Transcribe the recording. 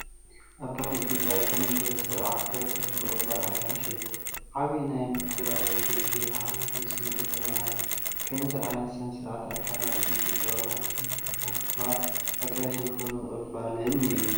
ኣብ ባህሊ ኢትዮጵያ ዝተመስረተ ስርዓት በረኸትን ምቕባል ኣጋይሽን እዩ። ዓቢይ ናይ ምክብባርን ትውፊትን ሓልዮትን ስምዒት የመሓላልፍ። ከምዚ ዓይነት ስነ-ስርዓት ኣካል ናይቲ ኢትዮጵያዊ ባህሊ ሽማግለታት ምኽባርን ኣጋይሽ ብኽብሪ ምቕባልን እዩ።